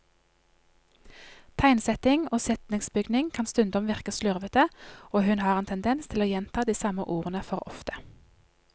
Tegnsetting og setningsbygning kan stundom virke slurvete, og hun har en tendens til å gjenta de samme ordene for ofte.